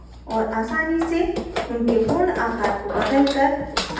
औऱ आसानी से उनके पूर्ण आकार को बदलकर